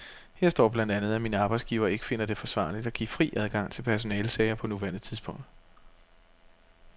Her står blandt andet, at min arbejdsgiver ikke finder det forsvarligt at give fri adgang til personalesager på nuværende tidspunkt.